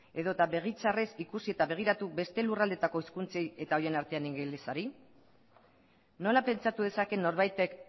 edota begi txarrez ikusi eta begiratu beste lurraldeetako hizkuntzei eta horien artean ingelesari nola pentsatu dezake norbaitek